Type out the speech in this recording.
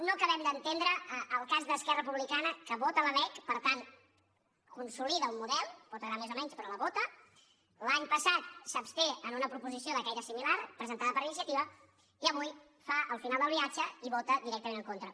no acabem d’entendre el cas d’esquerra republicana que vota la lec per tant consolida un model pot agradar més o menys però la vota l’any passat s’absté en una proposició de caire similar presentada per iniciativa i avui fa el final del viatge i hi vota directament en contra